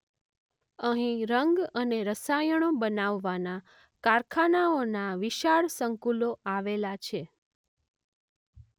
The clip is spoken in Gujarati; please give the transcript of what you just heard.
અહીં રંગ અને રસાયણો બનાવવાનાં કારખાનાંઓનાં વિશાળ સંકુલો આવેલાં છે.